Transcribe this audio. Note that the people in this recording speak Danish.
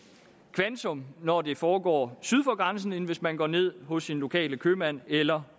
kvantum når det foregår syd for grænsen end hvis man går ned hos sin lokale købmand eller